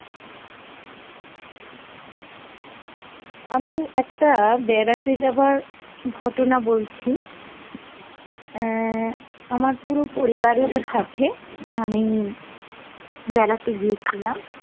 আমি একটা বেড়াতে যাবার ঘটনা বলছি, অ্যাঁ আমার পুরো পরিবারের সাথে আমি বেড়াতে গিয়েছিলাম